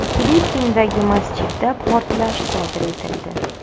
Filippindagi masjidda portlash sodir etildi.